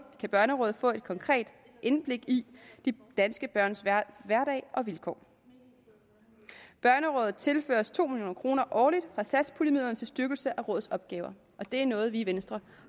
kan børnerådet få et konkret indblik i de danske børns hverdag og vilkår børnerådet tilføres to million kroner årligt fra satspuljemidlerne til styrkelse af løsningen rådets opgaver og det er noget vi i venstre